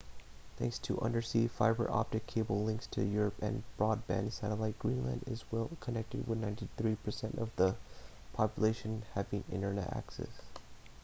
thanks to undersea fiber optic cable links to europe and broadband satellite greenland is well connected with 93% of the population having internet access